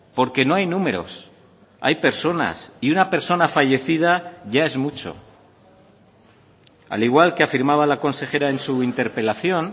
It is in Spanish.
porque no hay números hay personas y una persona fallecida ya es mucho al igual que afirmaba la consejera en su interpelación